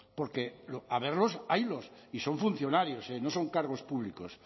porque haberlos haylos y son funcionarios no son cargos públicos